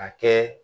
A kɛ